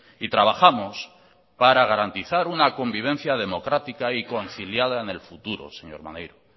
y trabajamos para garantizar una convivencia democrática y conciliada en el futuro señor maneiro